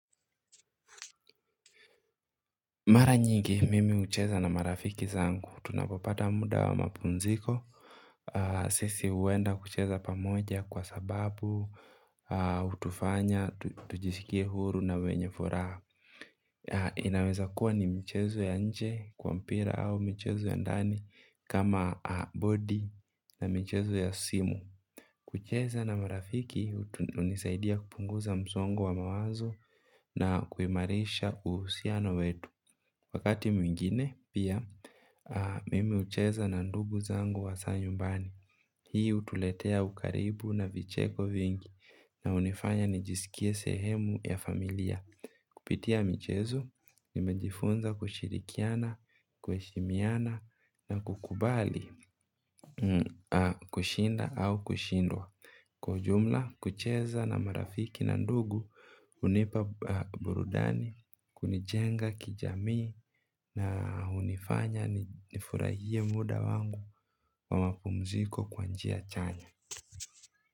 Mara nyingi mimi hucheza na marafiki zangu, tunapopata muda wa mapunziko. Sisi huenda kucheza pamoja kwa sababu, hutufanya, tujisikie huru na wenye furaha. Inaweza kuwa ni mchezo ya nje kwa mpira au mchezo ya ndani kama bodi na michezo ya simu. Kucheza na marafiki hunisaidia kupunguza msongo wa mawazo na kuimarisha uhusiano wetu. Wakati mwingine pia mimi hucheza na ndugu zangu wa hasa nyumbani. Hii hutuletea ukaribu na vicheko vingi na hunifanya nijisikie sehemu ya familia. Kupitia michezo, nimejifunza kushirikiana, kuheshimiana na kukubali kushinda au kushindwa. Kwa ujumla kucheza na marafiki na ndugu hunipa burudani, kunijenga kijamii na hunifanya nifurahie muda wangu wa mapumziko kwa njia chanya.